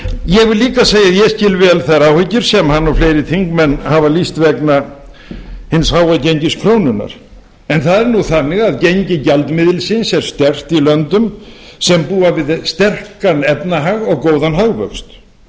ég vil líka segja að ég skil vel þær áhyggjur sem hann og fleiri þingmenn hafa lýst vegna hins háa gengis krónunnar en það er þannig að gengi gjaldmiðilsins er sterkt í löndum sem búa við sterkan efnahag og góðan hagvöxt